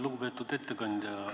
Lugupeetud ettekandja!